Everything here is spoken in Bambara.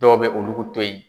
Dɔw bɛ olu to yen.